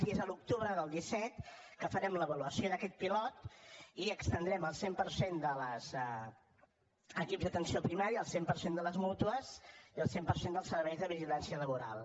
i és a l’octubre del disset que farem l’avaluació d’aquest pilot i l’estendrem al cent per cent dels equips d’atenció primària al cent per cent de les mútues i al cent per cent dels serveis de vigilància laboral